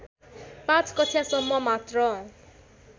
५ कक्षासम्म मात्र